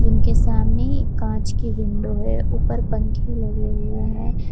उनके सामने एक कांच की विंडो है ऊपर पंख लगे हुए हैं।